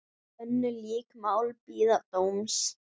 Önnur lík mál bíða dóms.